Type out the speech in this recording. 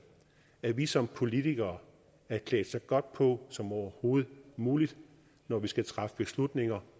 at vi som politikere er klædt så godt på som overhovedet muligt når vi skal træffe beslutninger